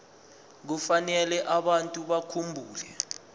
kufanele abantu bakhumbule